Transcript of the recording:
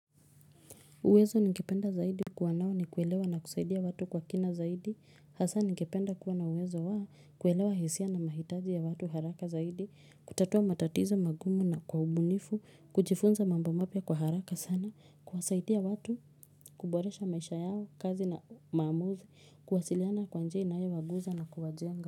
Uwezo ningependa zaidi kuwa nao ni kuelewa na kusaidia watu kwa kina zaidi, hasa ningependa kuwa na uwezo wa kuelewa hisia na mahitaji ya watu haraka zaidi, kutatua matatizo magumu na kwa ubunifu, kujifunza mambo mapya kwa haraka sana, kuwasaidia watu, kuboresha maisha yao, kazi na maamuzi, kuwasiliana kwa njia inayowaguza na kuwajenga.